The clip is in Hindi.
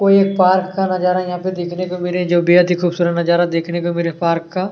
कोई एक पार्क का नज़ारा यहाँ पे देखने को मिले जो बेहद ही खूबसुरत नज़ारा देखने को मिल रहे है पार्क का।